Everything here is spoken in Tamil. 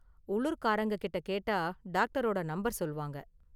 உள்ளூர்காரங்க கிட்ட கேட்டா டாக்டரோட நம்பர் சொல்வாங்க.